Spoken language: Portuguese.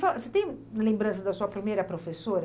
Você tem lembrança da sua primeira professora?